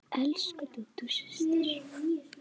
Elsku Dúdú systir.